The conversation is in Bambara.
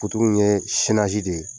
in ye de ye